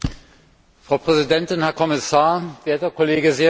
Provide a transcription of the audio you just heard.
Frau Präsidentin, Herr Kommissar, werter Kollege Siwiec!